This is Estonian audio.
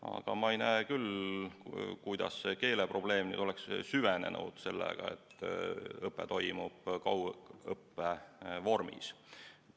Aga ma ei näe küll, kuidas see keeleprobleem oleks süvenenud sellega, et õpe toimub kaugõppe vormis.